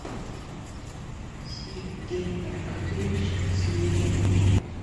сергей аркадьевич свирин